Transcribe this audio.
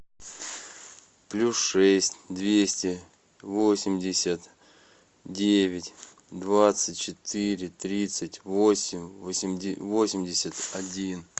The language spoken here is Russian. плюс шесть двести восемьдесят девять двадцать четыре тридцать восемь восемьдесят один